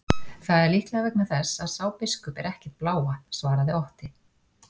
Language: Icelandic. Það er líklega vegna þess að sá biskup er ekkert blávatn, svaraði Otti.